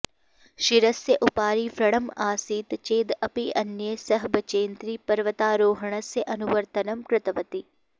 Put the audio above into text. शिरस्य उपरि व्रणं आसीत् चेद् अपि अन्यै सह बचेन्द्री पर्वतारोहणस्य अनुवर्तनं कृतवती